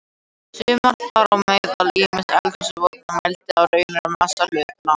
Sumar, þar á meðal ýmsar eldhúsvogir, mæla í rauninni massa hlutanna.